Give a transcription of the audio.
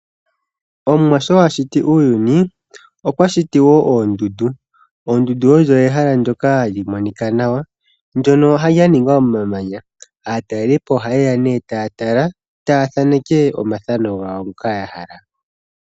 Omuwa sho a shiti uuyuni okwa shiti wo oondundu. Oondundu odho iishitwa mbyoka hayi monika nawa nodha ningwa momamanya. Aatalelipo ohaye ya nduno taya tala nokuthaneka omathanao gawo ngoka ya hala.